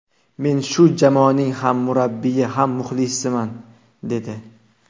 Men shu jamoaning ham murabbiyi, ham muxlisiman”, dedi.